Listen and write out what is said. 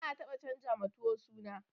Ba'a taba canjawa tuwo suna.